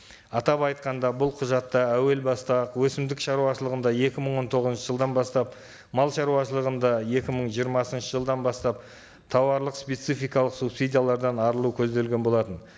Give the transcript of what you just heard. атап айтқанда бұл құжатта әуел баста ақ өсімдік шаруашылығында екі мың он тоғызыншы жылдан бастап мал шаруашылығында екі мың жиырмасыншы жылдан бастап тауарлық спецификалық субсидиялардан арылу көзделген болатын